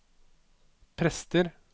prester